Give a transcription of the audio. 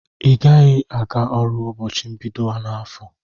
Igaghi aga ọrụ ụbọchi mbido afọ!!